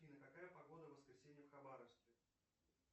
афина какая погода в воскресенье в хабаровске